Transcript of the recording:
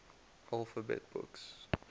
alphabet books